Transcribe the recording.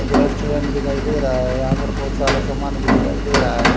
एक रेस्टोरेंट दिखाई दे रहा है यहां पर बहुत सारा सामान भी दिखाई दे रहा है।